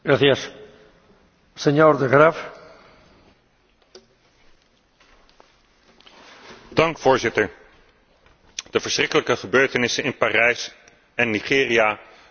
De verschrikkelijke gebeurtenissen in Parijs en Nigeria de afgelopen week hebben pijnlijk duidelijk gemaakt dat het islamitisch terrorisme van het hart van Afrika tot in het hart van Europa reikt.